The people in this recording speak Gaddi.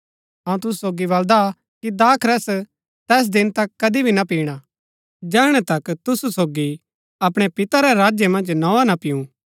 अऊँ तुसु सोगी बलदा कि दाखरस तैस दिन तक कदी भी ना पिणा जैहणै तक तुसु सोगी अपणै पिता रै राज्य मन्ज नोआ ना पीऊँ